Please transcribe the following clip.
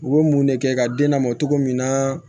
U bɛ mun de kɛ ka den lamɔ cogo min na